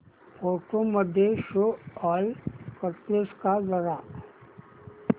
photos मध्ये show all करतेस का जरा